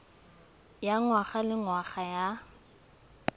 ya ngwaga le ngwaga ya